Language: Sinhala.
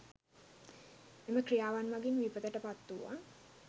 එම ක්‍රියාවන් මගින් විපතට පත් වූවන්